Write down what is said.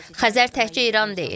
Xəzər təkcə İran deyil.